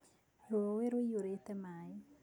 Rũũĩ rũiyũrĩte maĩ